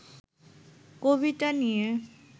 কবিতা নিয়ে